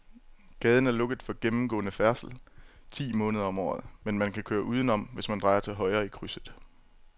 Gaden er lukket for gennemgående færdsel ti måneder om året, men man kan køre udenom, hvis man drejer til højre i krydset.